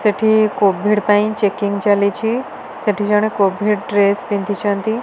ସେଠି କୋଭିଡ଼୍ ପାଇଁ ଚେକିଙ୍ଗ୍ ଚାଲିଚି ସେଠି ଜଣେ କୋଭିଡ଼୍ ଡ୍ରେସ୍ ପିନ୍ଧିଛନ୍ତି।